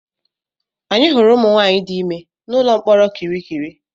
Anyị hụrụ ụmụnwaanyị dị ime n'ụlọ mkpọrọ kirikiri.